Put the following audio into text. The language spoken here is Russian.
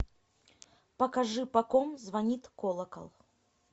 покажи по ком звонит колокол